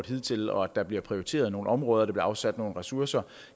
hidtil og at der bliver prioriteret nogle områder og der bliver afsat nogle ressourcer